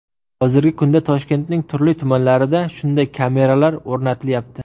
Hozirgi kunda Toshkentning turli tumanlarida shunday kameralar o‘rnatilyapti.